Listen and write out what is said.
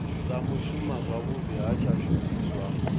sa shuma zwavhudi ha tshishumiswa